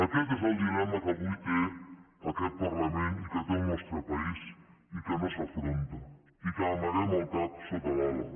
aquest és el dilema que avui té aquest parlament i que té el nostre país i que no s’afronta i que amaguem el cap sota l’ala